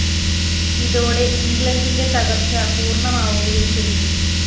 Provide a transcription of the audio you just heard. ഇതോടെ ഇംഗ്ലണ്ടിന്റെ തകര്‍ച്ച പൂര്‍ണമാവുകയും ചെയ്തു